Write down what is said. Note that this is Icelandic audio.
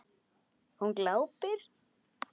Hún glápir.